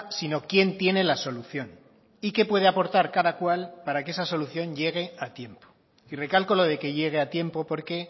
sino quién tiene la solución y qué puede aportar cada cual para que esa solución llegue a tiempo y recalco lo de que llegue a tiempo porque